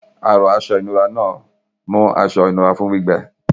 Àrọ̀ Aṣọ ìnura náà mú aṣọ ìnura fún gbígbẹ.